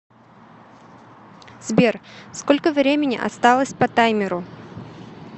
сбер сколько времени осталось по таймеру